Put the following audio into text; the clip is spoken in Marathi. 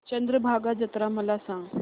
चंद्रभागा जत्रा मला सांग